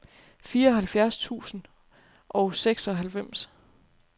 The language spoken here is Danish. fireoghalvfjerds tusind og seksoghalvfems